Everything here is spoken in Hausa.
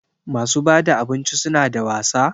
Masu bada abinci suna da wasa?